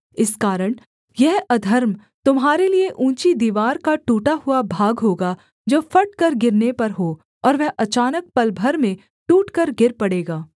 इस कारण यह अधर्म तुम्हारे लिये ऊँची दीवार का टूटा हुआ भाग होगा जो फटकर गिरने पर हो और वह अचानक पल भर में टूटकर गिर पड़ेगा